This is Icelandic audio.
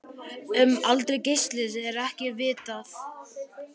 Um aldur Geysis er ekki vitað.